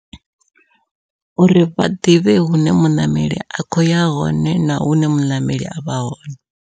Uri vha ḓivhe hune muṋameli a kho ya hone na hune muṋameli avha hone.